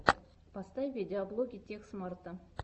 поставь видеоблоги тех смарта